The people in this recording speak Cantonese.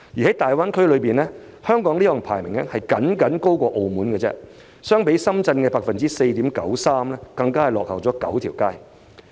在大灣區內，香港的有關排名僅高於澳門，相比深圳的 4.93% 更是大幅落後。